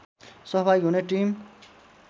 सहभागी हुने टिम